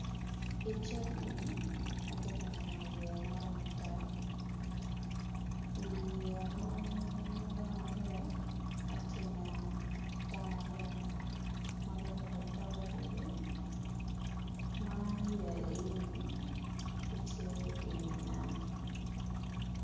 I cal eni atye ka neno yeya maromo adek i yeya maromo aryo, atineno dano aryo maguruko tok i wigi mayeya egini gitye i wi nam.